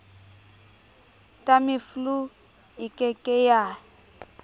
tamiflu e ke ke ya